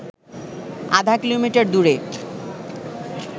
আধা কিলোমটার দূরে